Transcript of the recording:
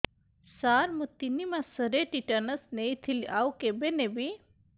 ସାର ମୁ ତିନି ମାସରେ ଟିଟାନସ ନେଇଥିଲି ଆଉ କେବେ ନେବି